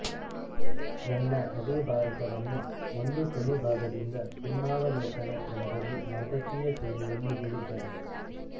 ರನ್ನ ಅದೇ ಭಾರತವನ್ನು ಒಂದು ಕೊನೆ ಭಾಗದಿಂದ ಸಿಂಹಾವಲೋಕನ ಕ್ರಮದಲ್ಲಿ ನಾಟಕೀಯ ಶೈಲಿಯಲ್ಲಿ ಹೇಳಿದ್ದಾನೆ